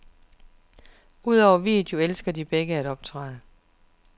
Udover video elsker de begge at optræde.